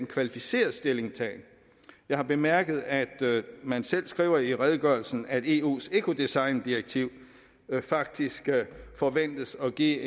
kvalificeret stillingtagen jeg har bemærket at man selv skriver i redegørelsen at eus ecodesigndirektiv faktisk forventes at give